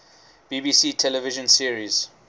bbc television series